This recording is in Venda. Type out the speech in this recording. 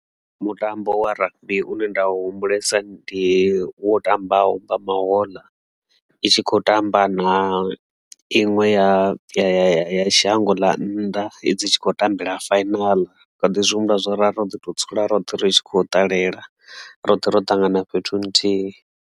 Mutambo wa rugby une nda u humbulesa ndi wo tambaho mbamahoḽa itshi kho tamba na inwe ya ya shango ḽa nnḓa i dzi tshi khou tambela fainaḽi ndi kha ḓi zwi humbula zwori ra ro ḓi to dzula roṱhe ri tshi khou ṱalela roṱhe ro tangana fhethu nthihi.